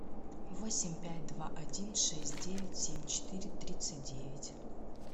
восемь пять два один шесть девять семь четыре тридцать девять